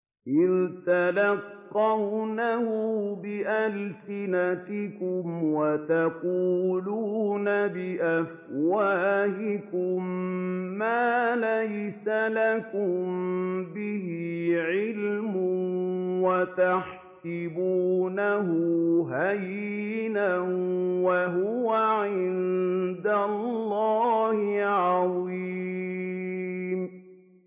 إِذْ تَلَقَّوْنَهُ بِأَلْسِنَتِكُمْ وَتَقُولُونَ بِأَفْوَاهِكُم مَّا لَيْسَ لَكُم بِهِ عِلْمٌ وَتَحْسَبُونَهُ هَيِّنًا وَهُوَ عِندَ اللَّهِ عَظِيمٌ